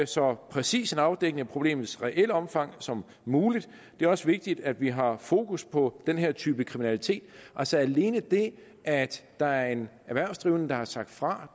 så præcis en afdækning af problemets reelle omfang som muligt det er også vigtigt at vi har fokus på den her type kriminalitet altså alene det at der er en erhvervsdrivende der har sagt fra